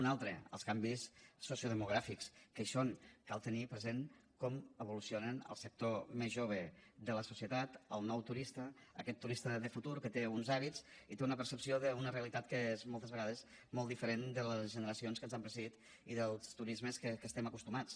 un altre els canvis sociodemogràfics que hi són cal tenir present com evoluciona el sector més jove de la societat el nou turista aquest turista de futur que té uns hàbits i té una percepció d’una realitat que és moltes vegades molt diferent de les generacions que ens han precedit i dels turismes a què estem acostumats